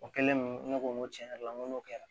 O kɛlen ne ko n ko tiɲɛ yɛrɛ la n ko n'o kɛra